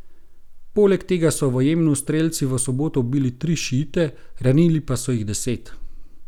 Poleg tega so v Jemnu strelci v soboto ubili tri šiite, ranili pa so jih deset.